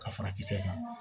Ka fara kisɛ kan